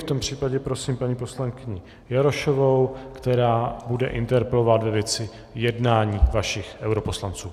V tom případě prosím paní poslankyni Jarošovou, která bude interpelovat ve věci jednání vašich europoslanců.